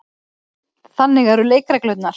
Þannig eru leikreglurnar.